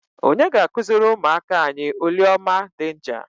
Onye ga-akụziri ụmụaka anyị oliọma denja?